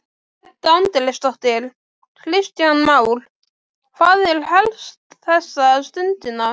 Edda Andrésdóttir: Kristján Már, hvað er helst þessa stundina?